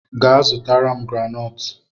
Gaa zụtara m granọọtụ!